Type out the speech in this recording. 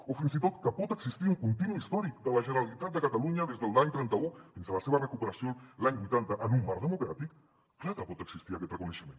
o fins i tot que pot existir un continu històric de la generalitat de catalunya des de l’any trenta un fins a la seva recuperació l’any vuitanta en un marc democràtic clar que pot existir aquest reconeixement